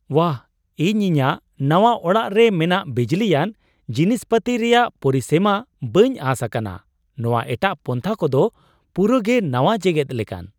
ᱵᱟᱦ, ᱤᱧ ᱤᱧᱟᱹᱜ ᱱᱟᱣᱟ ᱚᱲᱟᱜ ᱨᱮ ᱢᱮᱱᱟᱜ ᱵᱤᱡᱽᱞᱤᱭᱟᱱ ᱡᱤᱱᱤᱥ ᱯᱟᱹᱛᱤ ᱨᱮᱭᱟᱜ ᱯᱚᱨᱤᱥᱢᱟᱹ ᱵᱟᱹᱧ ᱟᱸᱥ ᱟᱠᱟᱱᱟᱼ ᱱᱚᱶᱟ ᱮᱴᱟᱜ ᱯᱟᱱᱛᱷᱟ ᱠᱚᱫᱚ ᱯᱩᱨᱟᱹ ᱜᱮ ᱱᱟᱣᱟ ᱡᱮᱜᱮᱫ ᱞᱮᱠᱟᱱ ᱾